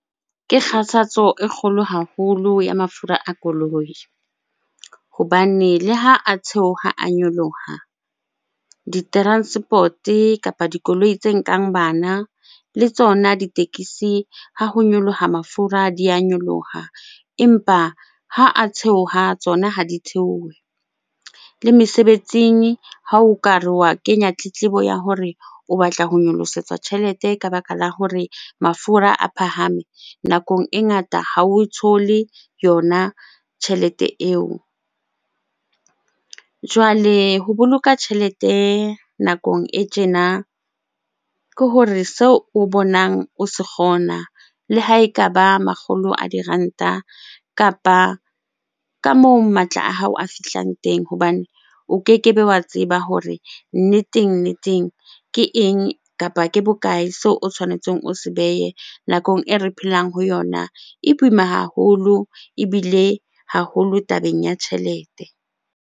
Ke kgathatso e kgolo haholo ya mafura a koloi hobane le ha a theoha a nyoloha, di-transport-e kapa dikoloi tse nkang bana le tsona ditekesi ha ho nyoloha mafura di a nyoloha empa ha a theoha, tsona ha di theohe. Le mesebetsing ha o ka re wa kenya tletlebo ya hore o batla ho nyolosetsa tjhelete ka baka la hore mafura a phahame, nakong e ngata ha o thole yona tjhelete eo. Jwale ho boloka tjhelete nakong e tjena ke hore seo o bonang o se kgona le ha ekaba makgolo a diranta kapa ka moo matla a hao a fihlang teng hobane o kekebe wa tseba hore nneteng-nneteng ke eng kapa ke bokae seo o tshwanetseng o se behe? Nakong e re phelang ho yona e boima haholo ebile haholo tabeng ya tjhelete.